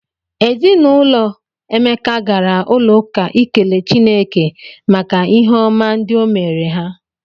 Ezi na ụlọ Emeka gara ụlọụka ikele Chineke maka ihe ọma ndị o meere ha.